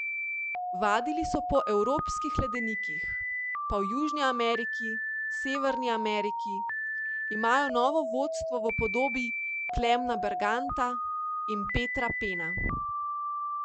Vadili so po evropskih ledenikih, pa v Južni Ameriki, Severni Ameriki, imajo novo vodstvo v podobi Klemena Berganta in Petra Pena...